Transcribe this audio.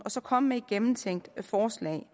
og så komme med et gennemtænkt forslag